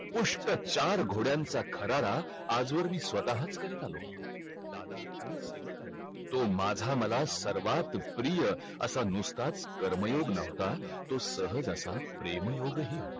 पुष्ट चार घोड्यांचा खरारा आज वर मी स्वताहाच करत आलो तो माझा मला सर्वात प्रिया असा नुसताच कर्मयोग नव्हता तो सहज असा प्रेमयोग हि हो